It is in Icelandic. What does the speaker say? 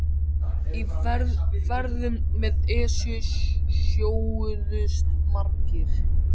Í ferðum með Esju sjóuðust margir.